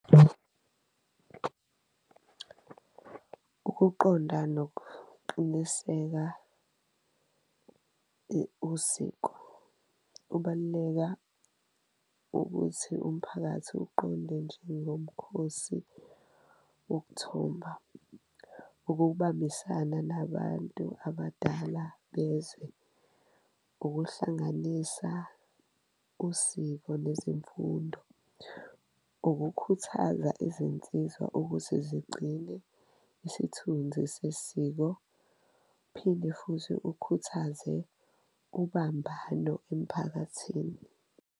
Ukuqonda nokuqiniseka usiko ubaluleka ukuthi umphakathi uqonde njengomkhosi wokuthomba, ukubambisana nabantu abadala bezwe, ukuhlanganisa usiko lwezemfundo, ukukhuthaza izinsizwa ukuthi zigcine isithunzi sesiko, phinde futhi ukhuthaze ubambano emphakathini.